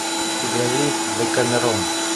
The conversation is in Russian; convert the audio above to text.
у тебя есть декамерон